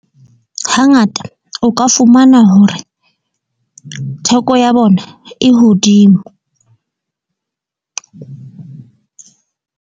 Hangata o ka fumana hore theko ya bona e hodimo.